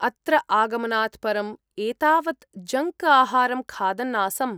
अत्र आगमनात् परम्‌ एतावत् जङ्क् आहारं खादन् आसम्।